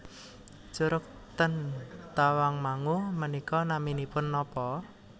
Curug ten Tawangmangu menika naminipun nopo